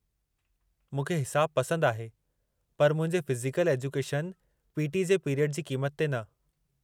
मूंखे हिसाबु पसंदि आहे पर मुंहिंजे फ़िज़िकल एजुकेशन (पी.टी.) जे पीरियडु जी क़ीमत ते न।